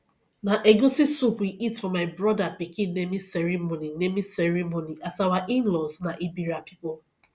na egusi soup we eat for my brother pikin naming ceremony naming ceremony as our inlaws na ebira people